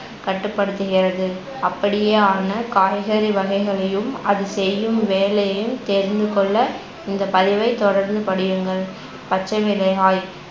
கட்டுப்படுத்துகிறது அப்படியேயான காய்கறி வகைகளையும் அது செய்யும் வேலையையும் தெரிந்து கொள்ள இந்த பதிவை தொடர்ந்து படியுங்கள் பச்சைமிளகாய்